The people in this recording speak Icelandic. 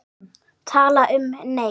Tala um, nei!